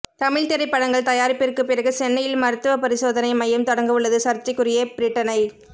தமிழ்த் திரைப்படங்கள் தயாரிப்பிற்குப் பிறகு சென்னையில் மருத்துவப் பரிசோதனை மையம் தொடங்கவுள்ளது சர்ச்சைக்குரிய பிரிட்டனைச்